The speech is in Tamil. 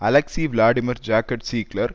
அலெக்சி விளாடிமிர் ஜாக்கர்ட் சீக்லெர்